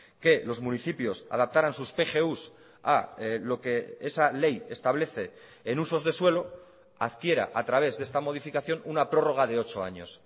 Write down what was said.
que los municipios adaptaran sus pgus a lo que esa ley establece en usos de suelo adquiera a través de esta modificación una prórroga de ocho años